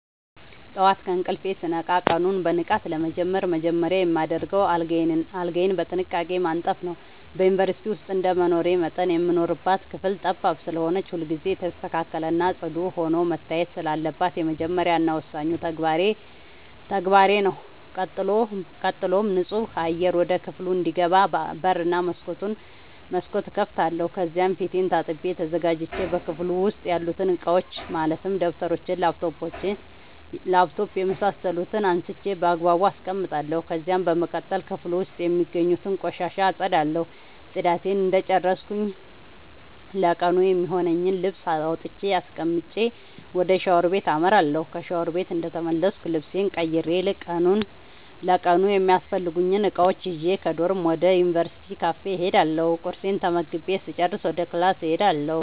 ጠዋት ከእንቅልፌ ስነቃ ቀኑን በንቃት ለመጀመር መጀመሪያ የማደርገው አልጋዬን በጥንቃቄ ማንጠፍ ነዉ። በዩንቨርስቲ ዉስጥ እንደመኖሬ መጠን የምንኖርባት ክፍል ጠባብ ስለሆነች ሁልጊዜ የተስተካከለ እና ፅዱ ሆና መታየት ስላለባት የመጀመሪያ እና ወሳኙ ተግባሬ ተግባሬ ነዉ። ቀጥሎም ንፁህ አየር ወደ ክፍሉ እንዲገባ በር እና መስኮት እከፍታለሁ ከዚያም ፊቴን ታጥቤ ተዘጋጅቼ በክፍሉ ዉስጥ ያሉትን እቃዎች ማለትም ደብተሮች: ላፕቶፕ የምሳሰሉትን አንስቼ ባግባቡ አስቀምጣለሁ። ከዚያም በመቀጠል ክፍሉ ዉስጥ የሚገኙትን ቆሻሻ አፀዳለሁ ፅዳቴን እንደጨረስኩ ለቀኑ የሚሆነኝን ልብስ አውጥቼ አስቀምጬ ወደ ሻወር ቤት አመራለሁ። ከሻወር ቤት እንደተመለስኩ ልብሴን ቀይሬ ለቀኑ የሚያስፈልጉኝን እቃዎች ይዤ ከዶርም ወደ ዩንቨርስቲው ካፌ እሄዳለሁ ቁርሴን ተመግቤ ስጨርስ ወደ ክላስ እሄዳለሁ።